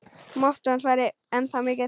Máttur hans væri ennþá mikill.